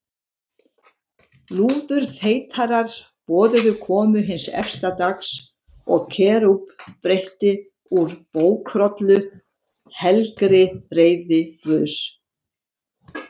Lúðurþeytarar boðuðu komu hins efsta dags og Kerúb breiddi úr bókrollu, helgri reiði Guðs.